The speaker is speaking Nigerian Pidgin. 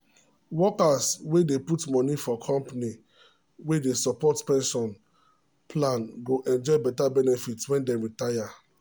workers wey dey put money for company wey dey support pension plan go enjoy beta benefit when dem retire.